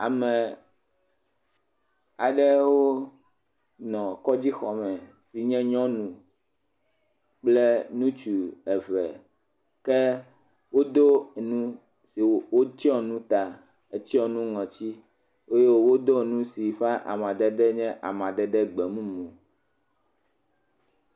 Ame aɖewo le kɔdzixɔ me yi nye nyɔnu kple ŋutsu eve ke woɖo nu nu eye wotsɔ nu ta hetsɔ nu ŋɔti eye wodo nu si amadede nye amadede gbemumu.